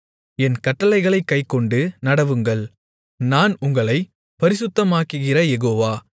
என் கட்டளைகளைக் கைக்கொண்டு நடவுங்கள் நான் உங்களைப் பரிசுத்தமாக்குகிற யெகோவா